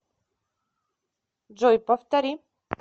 джой повтори